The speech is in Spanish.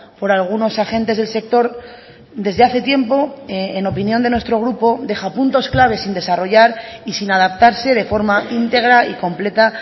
por algunos agentes del sector desde hace tiempo en opinión de nuestro grupo deja puntos claves sin desarrollar y sin adaptarse de forma íntegra y completa